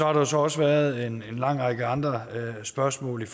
har så også været en lang række andre spørgsmål